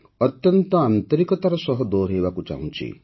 ଅତ୍ୟନ୍ତ ଆନ୍ତରିକତାର ସହ ଦୋହରାଇବାକୁ ଚାହୁଁଛି